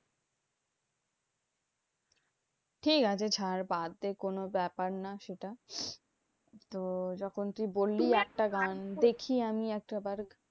ঠিকাছে ছাড় বাদ দে কোনো ব্যাপার না সেটা। তো যখন তুই বললি একটা গান দেখি আমি একটা বার।